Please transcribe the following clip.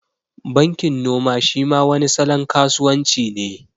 Bankin noma shi ma wani salon kasuwan ci ne